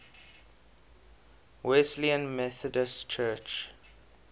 wesleyan methodist church